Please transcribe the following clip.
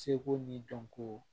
Seko ni dɔnko